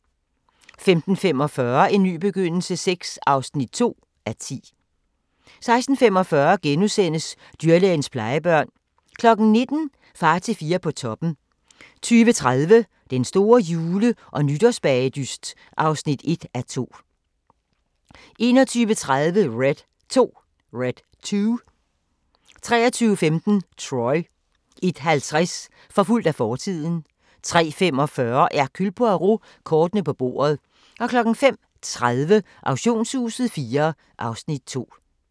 15:45: En ny begyndelse VI (2:10) 16:45: Dyrlægens plejebørn * 19:00: Far til fire på toppen 20:30: Den store jule- og nytårsbagedyst (1:2) 21:30: Red 2 23:15: Troy 01:50: Forfulgt af fortiden 03:45: Hercule Poirot: Kortene på bordet 05:30: Auktionshuset IV (Afs. 2)